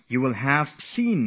You must have noticed this too